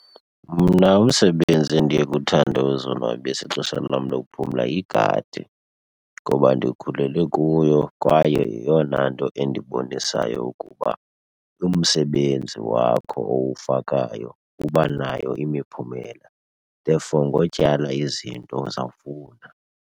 Mna umsebenzi endiye kuthande uzonwabisa ixesha lam lokuphumla yigadi ngoba ndikhulele kuyo kwaye yeyona nto endibonisa ukuba umsebenzi wakho owufakayo uba nayo imiphumela, therefore ngotyala izinto uzawufuna.